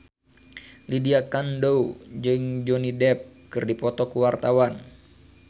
Lydia Kandou jeung Johnny Depp keur dipoto ku wartawan